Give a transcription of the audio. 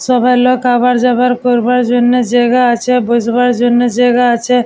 সবাই লোক আওয়ার যাওয়ার করবার জন্য জায়গা আছে বসবার জন্য জায়গা আছে।